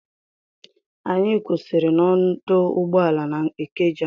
Anyị kwụsịrị n'ọdụ ụgbọala n'Ikeja.